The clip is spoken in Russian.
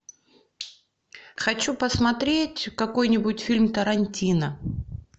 хочу посмотреть какой нибудь фильм тарантино